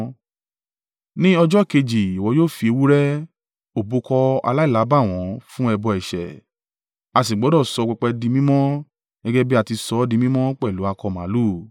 “Ní ọjọ́ kejì ìwọ yóò fi ewúrẹ́, òbúkọ aláìlábàwọ́n fún ẹbọ ẹ̀ṣẹ̀, a sì gbọdọ̀ sọ pẹpẹ di mímọ́ gẹ́gẹ́ bí a ti ṣọ́ di mímọ́ pẹ̀lú akọ màlúù.